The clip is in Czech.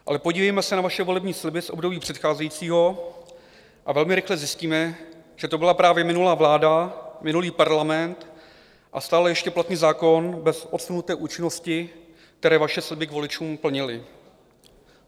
Ale podívejme se na vaše volební sliby z období předcházejícího a velmi rychle zjistíme, že to byla právě minulá vláda, minulý parlament a stále ještě platný zákon bez odsunuté účinnosti, které vaše sliby k voličům plnily.